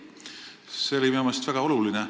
See oli minu meelest väga oluline.